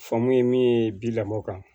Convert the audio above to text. Famori min ye bi lamɔ kan